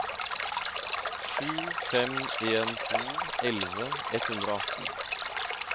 sju fem en to elleve ett hundre og atten